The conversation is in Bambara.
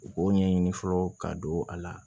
U b'o ɲɛɲini fɔlɔ ka don a la